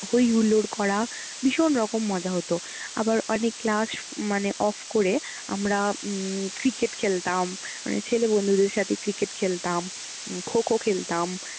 হই হুল্লোড় করা, ভীষণ রকম মজা হতো। আবার অনেক ক্লাস মানে off করে আমরা উম cricket খেলতাম, মানে ছেলে বন্ধুদের সাথে cricket খেলতাম, kho kho খেলতাম।